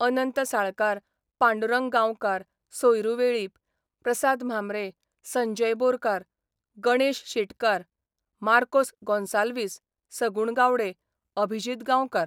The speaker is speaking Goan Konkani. अनंत साळकार, पांडुरंग गांवकार, सोयरू वेळीप, प्रसाद म्हांबरे, संजय बोरकार, गणेश शेटकार, मार्कोस गोन्साल्वीस, सगूण गावडे, अभिजीत गांवकार.